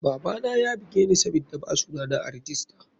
Babana yabugeni sabida ba suna na a rijista.